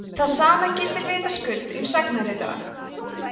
það sama gildir vitaskuld um sagnaritara